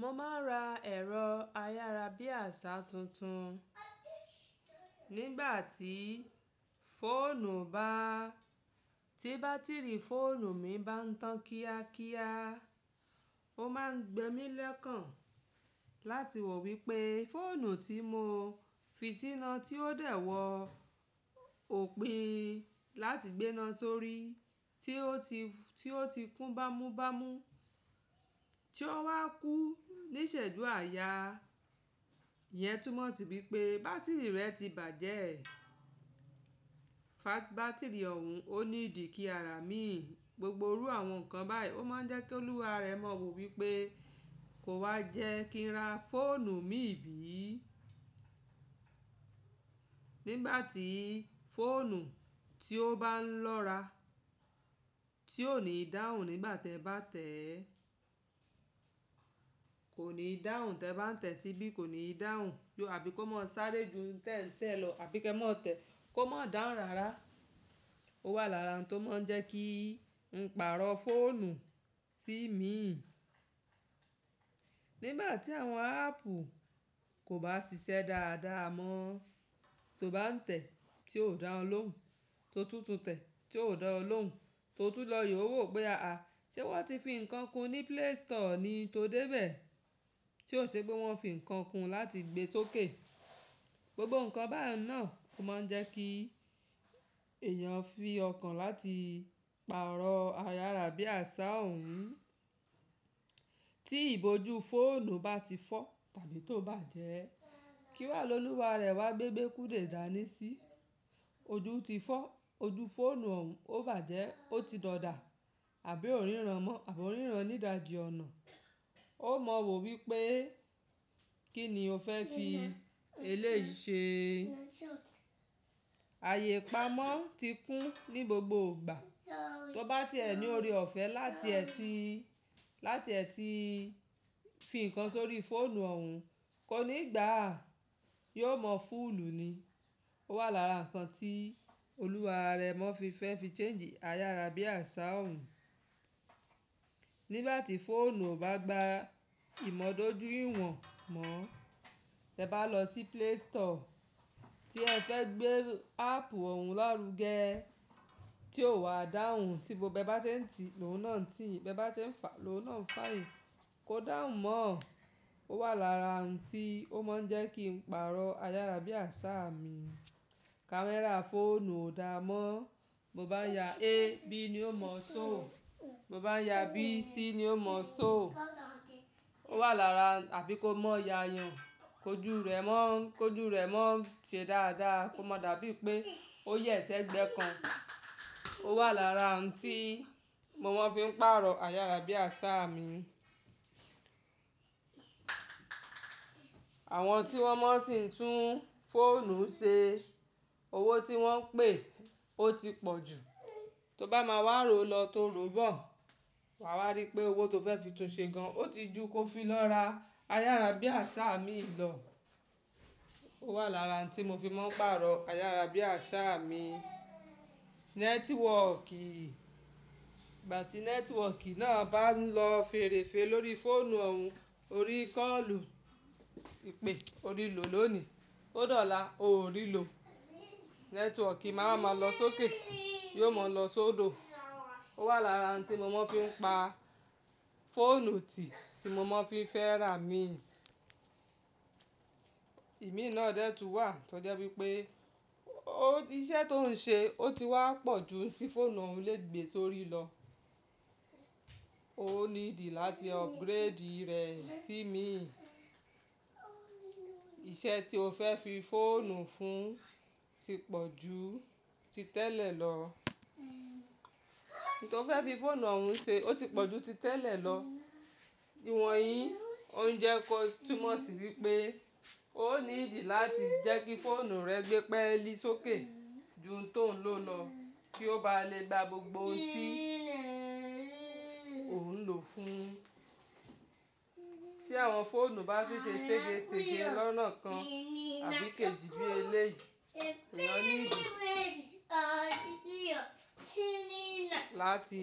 Mo máa ń ra ẹ̀rọ ayárabíàṣá tuntun. Nígbà tí fóònù bá, tí bátìrì fóònù mi bá ń tàn kíákíá, ó máa ń gbe mí lokàn láti wò wípé fóònù tí mo fi síná tí ó dẹ̀ wọ òpin láti gbe náà sórí tí ó ti, tí ó ti kún bámúbámú tí ó wa kú níṣẹ̀jú àayà, iyẹn túmọ̀ sí wípé bátìrì rẹ̀ ti bàjẹ́. Fa bátìrì ọ̀hún ò ni di kí a rà mí, gbogbo irú àwọn nǹkan báyìí ó máa ń jẹ́ kí olúwa rẹ mọ wò wípé kò wá yẹ́ kí n ra fóònù mi ìbí. Nígbà tí fóònù tí ó bá ń lọ́ra tí ò ní dáhùn nígbà tẹ bá tẹ̀, kò ní dáhùn tẹ bá ń tẹ̀ síbí, kò ní dáhùn bí i kó má sáré ju tẹ́ń-tẹ́ lọ àbí kí ẹ má tẹ kó má dáhùn rárá. Ó wà lára ohun tó máa ń jẹ́ kí n pàrọ̀ fóònù si imi. Nígbà tí àwọn áàpù kò bá ṣiṣẹ́ dáadáa mọ, tó bá ń tẹ̀ tí ò dá olóhùn, tó tun tun tẹ̀ tí ò dá o lóhùn, tó tú lọ yewò wípé ṣẹ wón ti fi ǹkan kún ní Play Store ni tó dé bẹ̀. Tí ò ṣe pé wón fi ǹkan kún láti gbe sókè. Gbogbo nǹkan bá un náà ó máa ń jẹ́ kí èèyàn fi ọkàn láti pàrọ̀ ayárabíàṣá òun. Tí ìbòjú fóònù bá ti fọ́ tàbí tó bá jẹ́, kí wá lolúwa rẹ̀ wá gbé e gbekúde dání sí. Ojú ti fọ́, ojú fóònù òun ó bàjẹ́, ó ti dòdà àbí ò ríran mọ àbí ò ríran nídajì ọ̀nà. Ó mọ wò wípé kí ni o fẹ́ fi eléyi ṣe. Ayé ipamọ́ ti kún ní gbogbo ìgbà. Tó bá tiẹ ẹ ní ore ọ̀fẹ́ láti ẹ ti, láti ẹ ti fi ǹkan sórí fóònù òun kó ní gbà yóò mọ fúùlù ni. Ó wà lára ǹkan tí olúwa rẹ mọ fi fẹ́ fi change ayárabíàṣá òun. Nígbà tí fóònù ò bá gba ìmọ̀dójúyìwọ̀n mọ, tẹ bá lọ sí Play Store tí ẹ fẹ́ gbé áàpù òun lárugẹ tí ò wà dáhùn, tí gbogbo bi e bá sẹ ń tì lóhùn náà ń tiyìn, be bá se ń fà lóhùn náà ń fà yin, kò dáhùn mọ́. Ó wà lára oun tí ó máa ń jẹ́ kí n pàrọ̀ ayárabíàṣá mi. Kamera fóònù ò dáa mọ́, bo o bá ń ya A, B ni yó mọ̀ só. Mo bá ń ya B, C ni ó mọ̀ só. Ó wà lára àbí kó mó ya yan, kójù rẹ̀ mọ́, kójù rẹ̀ mọ́ ṣe dáadáa kò mọ̀ dàbí i pé ó yẹ̀sẹ́ gbẹ́ kan. Ó wà lára oun tí mo máa ń fi pàrọ̀ ayárabíàṣá mi. Àwọn tí wọ́n maa sì ń tún fóònù ṣe, owó tí wọ́n pè ó ti pọ̀ jù. Tó bá máa wá rò lọ tó rò bọ̀, wà wa rí pé owó tó fẹ́ fi tún ṣe gan, ó ti ju kó fi lọ ra ayárabíàṣá mi lọ. Ó wà lára ǹkan tí mo fi máa ń pàrọ̀ ayárabíàṣá mi. Nẹ́tíwọ̀kì, ìgbà tí nẹ́tíwọ̀kì náà bá ń lọ fèrèfè lórí fóònù òun, orí kọ́ọ̀lù, ìpè, orí lò ló ni. Ó dọ̀la, ò rí lò. Nẹ́tíwọ̀kì má a ma lọ sókè, yóò mọ̀ lọ sódò. Ó wà lára oun tí mo máa ń fi pa fóònù tí, tí mo máa ń fi fẹ́ rà mí. Ìmí náà dẹ́ tún wà tó jẹ́ wípé iṣẹ́ tó ń ṣe ó ti wá pọ̀ ju tí fóònù òun lè gbe sórí lọ. Ó ní ìdí láti upgrade rẹ̀ sí imí. Iṣẹ́ tí o fẹ́ fi fóònù fún ti pọ̀ ju ti tẹ́lẹ̀ lọ. Ohun tí o fẹ́ fi fóònù òun ṣe ó ti pọ̀ ju ti tẹ́lẹ̀ lọ. Ìwọnyí ó ń jẹ́ kó túmọ̀ sí wípé ó ní ìdí láti jẹ́ kí fóònù rẹ gbé pẹ́ẹ́lì sókè ju n tó ń lò lọ kí ó bá lè gba gbogbo ohun tí ò ń lò fún. Tí àwọn fóònù bá ti ṣe n sẹ́gesège lọ́nà kan àbí kéjí bí eléyìí, èèyàn ní ìdí láti